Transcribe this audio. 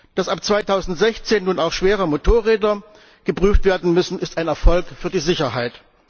Dass ab 2016 nun auch schwere Motorräder geprüft werden müssen, ist ein Erfolg für die Sicherheit.